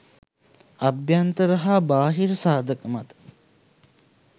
අභ්‍යන්තර හා බාහිර සාධක මත